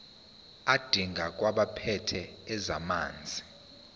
adingekayo kwabaphethe ezamanzi